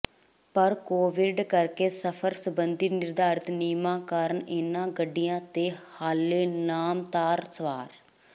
ਪਰ ਕੋਵਿਡ ਕਰਕੇ ਸਫ਼ਰ ਸਬੰਧੀ ਨਿਰਧਾਰਤ ਨਿਯਮਾਂ ਕਾਰਨ ਇਨ੍ਹਾਂ ਗੱਡੀਆਂ ਤੇ ਹਾਲੇ ਨਾਮਤਾਰ ਸਵਾਰ